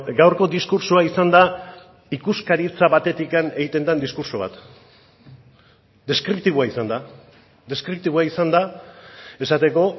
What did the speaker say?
gaurko diskurtsoa izan da ikuskaritza batetik egiten den diskurtso bat deskriptiboa izan da deskriptiboa izan da esateko